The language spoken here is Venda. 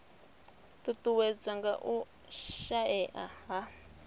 ṱuṱuwedzwa nga u shaea ha